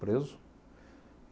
Preso.